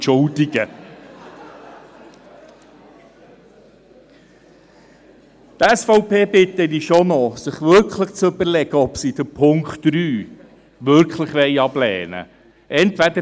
Die SVP bitte ich schon noch, sich zu überlegen, ob sie den Punkt 3 wirklich ablehnen will.